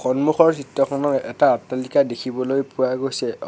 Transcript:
সন্মুখৰ চিত্ৰখনত এটা অট্টালিকা দেখিবলৈ পোৱা গৈছে অ--